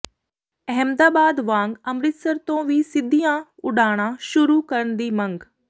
ਅਹਿਮਦਾਬਾਦ ਵਾਂਗ ਅੰਮ੍ਰਿਤਸਰ ਤੋਂ ਵੀ ਸਿੱਧੀਆਂ ਉਡਾਣਾਂ ਸ਼ੁਰੂ ਕਰਨ ਦੀ ਮੰਗ